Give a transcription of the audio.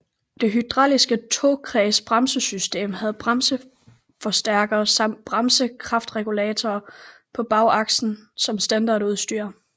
Det hydrauliske tokredsbremsesystem havde bremseforstærker samt bremsekraftregulator på bagakslen som standardudstyr